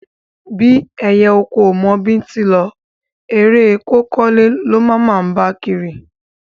Bí ẹyẹ oko ò mọ bíntín lọ, eré e kó kọ́lé ló máa máa bá kiri.